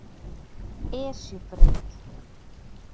Esjubraut